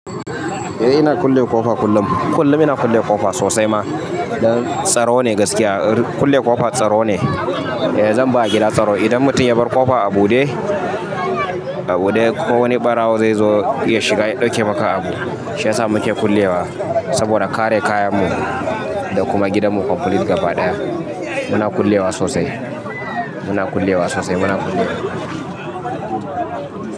Eh ina kulle ƙofa kullum. Kullum ina kulle ƙofa sosai ma. Don tsaro ne gaskiya ru kulle ƙofa tsaro ne. Eh zan ba gida tsaro. Idan mutum ya bar ƙofa a buɗe, a buɗe ko wani ɓarawo zai zo ya shiga ya ɗauke maka abu. Shiyasa muke kullewa, saboda kare kayanmu da kuma gidanmu ƙomplit gaba ɗaya. Muna kullewa sosai. Muna kullewa sosai. Muna kullewa.